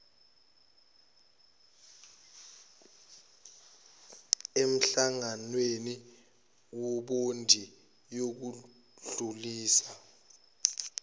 emhlanganweni webhodi yokudlulisa